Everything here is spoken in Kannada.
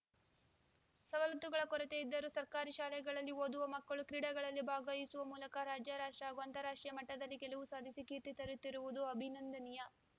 ಸವಲತ್ತುಗಳ ಕೊರತೆ ಇದ್ದರೂ ಸರ್ಕಾರಿ ಶಾಲೆಗಳಲ್ಲಿ ಓದುವ ಮಕ್ಕಳು ಕ್ರೀಡೆಗಳಲ್ಲಿ ಭಾಗವಹಿಸುವ ಮೂಲಕ ರಾಜ್ಯ ರಾಷ್ಟ್ರ ಹಾಗೂ ಅಂತಾರಾಷ್ಟ್ರೀಯ ಮಟ್ಟದಲ್ಲಿ ಗೆಲುವು ಸಾಧಿಸಿ ಕೀರ್ತಿ ತರುತ್ತಿರುವುದು ಅಭಿನಂದನೀಯ